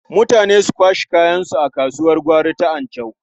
Mutane su kwashe kayansu a kasuwar gwari ta Anchau.